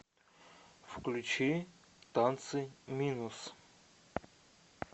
включи танцы минус